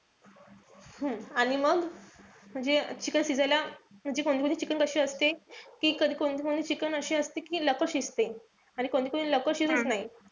हम्म आणि मग म्हणजे chicken शिजायला. म्हणजे कोणीकोणी chicken कशी असते कि कधी कोणतं chicken अशी असते कि लवकर शिजते. आणि कोणती-कोणती लवकर शिजत नाई.